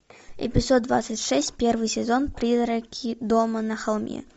эпизод двадцать шесть первый сезон призраки дома на холме